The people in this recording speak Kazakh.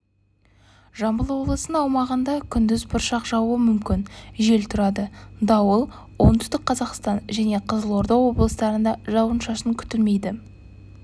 жамбыл облысының аумағында кндіз бұршақжауы мүмкін жел тұрады дауыл оңтүстік қазақстан және қызылорда облыстарында жауын-шашын ктілмейді